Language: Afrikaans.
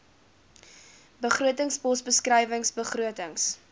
begrotingspos beskrywing begrotings